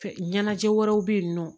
Ɲɛnajɛ wɛrɛw bɛ yen nɔ